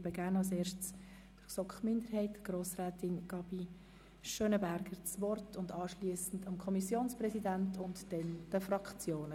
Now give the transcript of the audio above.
Gerne erteile ich zuerst für die GSoK-Minderheit Grossrätin Gabi das Wort und anschliessend dem Kommissionspräsidenten sowie den Fraktionen.